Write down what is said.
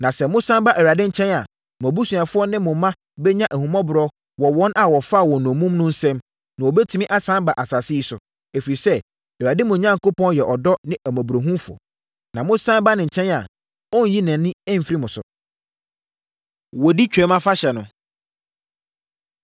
Na sɛ mosane ba Awurade nkyɛn a, mo abusuafoɔ ne mo mma bɛnya ahummɔborɔ wɔ wɔn a wɔfaa wɔn nnommum no nsam, na wɔbɛtumi asane aba asase yi so. Ɛfiri sɛ, Awurade, mo Onyankopɔn yɛ ɔdɔ ne ahummɔborɔ. Sɛ mosane ba ne nkyɛn a, ɔrenyi nʼani mfiri mo so.” Wɔdi Twam Afahyɛ No